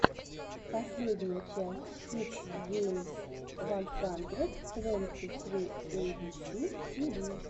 последняя часть кидс геймс ван хандрэд твэнти сри эйбиси тиви